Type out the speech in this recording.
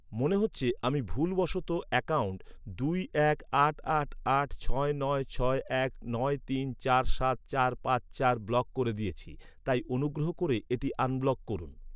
মনে হচ্ছে আমি ভুলবশত অ্যাকাউন্ট দুই এক আট আট আট ছয় নয় ছয় এক নয় তিন চার সাত চার পাঁচ চার ব্লক করে দিয়েছি তাই অনুগ্রহ করে এটি আনব্লক করুন।